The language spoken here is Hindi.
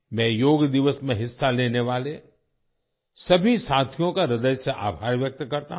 मैं योग दिवस में हिस्सा लेने वाले सभी साथियों का हृदय से आभार व्यक्त करता हूँ